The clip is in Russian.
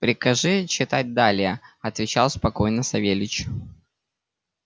прикажи читать далее отвечал спокойно савельич